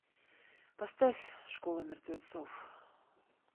поставь школа мертвецов